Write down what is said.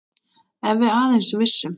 Ef við aðeins vissum.